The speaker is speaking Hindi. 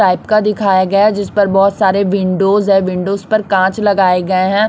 टाइप का दिखाया गया जिस पर बहोत सारे विंडो है। विंडोज पर कांच लगाए गए हैं।